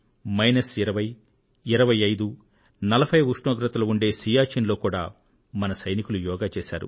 minus 20 25 40 డిగ్రీల ఉష్ణోగ్రతలు ఉండే సియాచిన్ లో కూడా మన సైనికులు యోగా చేశారు